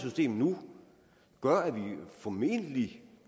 system nu gør at vi formentlig